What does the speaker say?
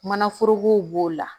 Manaforokow b'o la